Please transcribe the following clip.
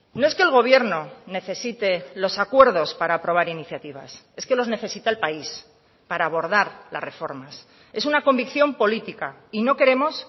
no es que el gobierno necesite los acuerdos para aprobar iniciativas es que los necesita el país para abordar las reformas es una convicción política y no queremos